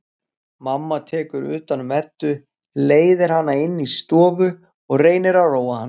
Mamma tekur utan um Eddu, leiðir hana inn í stofu og reynir að róa hana.